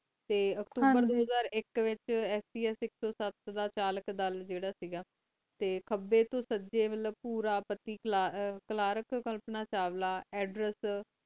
T ਅਕਤੂਬਰ ਦੋ ਹਜ਼ਾਰ ਆਇਕ ਵਿਚ ਸਪਸ ਆਇਕ ਸੋ ਸਾਥ ਦਾ ਤਾਰਾਲਕ ਅਦਲ ਜਰਾ ਕ ਗਾ ਟੀ ਕਬੀ ਤੋ ਸੱਜੀ ਮਤਲਬ ਪੂਰਾਪਾਤੀ ਕਲਾਰਾਕ਼ ਕੋਮ੍ਪਾਨਾ ਚਾਵਲਾ ਏਡ੍ਰੇਸ